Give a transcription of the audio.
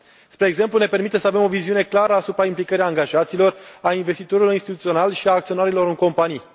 Spre exemplu, ne permite să avem o viziune clară asupra implicării angajaților, a investitorilor instituționali și a acționarilor în companii.